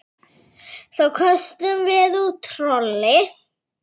Þá köstum við út trolli.